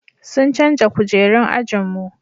sun canja kujerun ajinmu